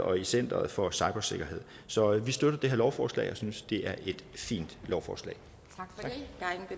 og i center for cybersikkerhed så vi støtter det her lovforslag og synes at det er et fint lovforslag tak